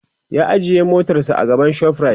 ya ajiye motarsa a gaban shoprite